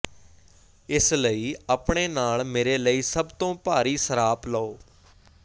ਇਸ ਲਈ ਆਪਣੇ ਨਾਲ ਮੇਰੇ ਲਈ ਸਭ ਤੋਂ ਭਾਰੀ ਸਰਾਪ ਲਓ